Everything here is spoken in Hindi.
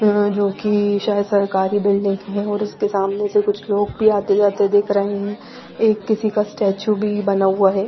जो की शायद सरकारी बिल्डिंग है और इसके सामने से कुछ लोग भी आते जाते दिख रहे है एक किसी का स्टैचू भी बना हुआ है।